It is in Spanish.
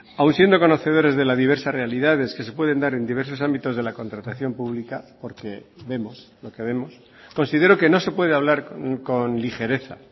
aún siendo conocedores de la diversas realidades que se pueden dar en diversos ámbitos de la contratación pública porque vemos lo que vemos considero que no se puede hablar con ligereza